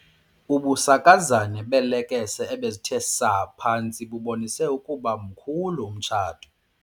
Ubusakazane beelekese ebezithe saa phantsi bubonise ukuba mkhulu umtshato.